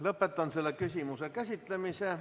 Lõpetan selle küsimuse käsitlemise.